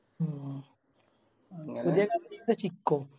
മ്മ്